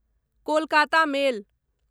Kolkata मेल